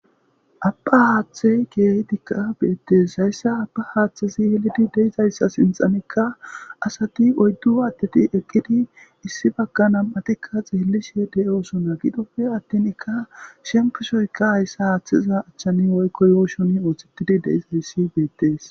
Aba haathe kehidika betes haysa aba haathezi de'izaysa sinthanika asati oydu adeti eqidi issi baga xelishe de'osona gido atin shemppo sohoy haysa hathe yuushon gigid de'es